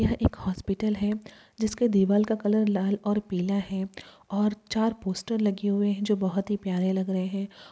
यह एक हॉस्पिटल है जिसका दीवाल का कलर लाल और पीला है और चार पोस्टर लगे हैं जो बहुत ही प्यारे लग रहे हैं।